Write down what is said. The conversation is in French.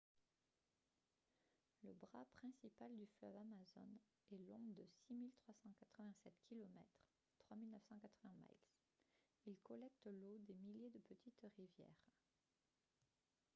le bras principal du fleuve amazone est long de 6 387 km 3 980 miles. il collecte l'eau des milliers de petites rivières